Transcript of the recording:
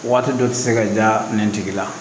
Waati dɔ tɛ se ka da nɛn tigi la